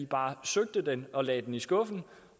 bare søgte den og lagde den i skuffen